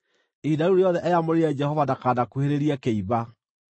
Ihinda rĩu rĩothe eyamũrĩire Jehova ndakanakuhĩrĩrie kĩimba.